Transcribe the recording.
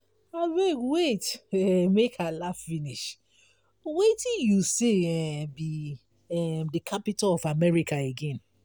abeg wait um make i iaugh finish wetin you say um be um the capital of america again?